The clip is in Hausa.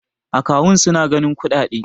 akawun suna ganin kuɗaɗe